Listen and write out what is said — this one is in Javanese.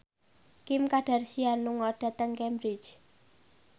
Kim Kardashian lunga dhateng Cambridge